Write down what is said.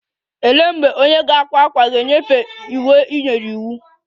Olee mgbe onye na-akwa ákwà ga-enyefee uwe ị nyere iwu?